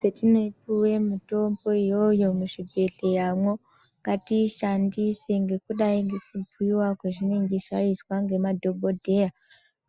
Petinopuwe mitombo, iyoyo muzvibhedhleyamwo, ngatiishandise, ngekudai ngekubhuiwa kwezvinenge zvaizwa ngemadhokodheya,